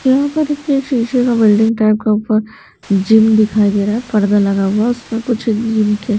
यहां पर एक शीशे का बिल्डिंग टाइप का ऊपर जिम दिखाई दे रहा है पर्दा लगा हुआ उसमें कुछ जिम के--